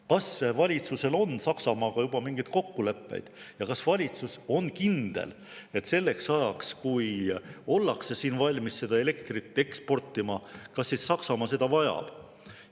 Kas valitsusel on Saksamaaga juba mingeid kokkuleppeid ja kas valitsus on kindel, et selleks ajaks, kui ollakse siin valmis seda elektrit eksportima, Saksamaa seda vajab?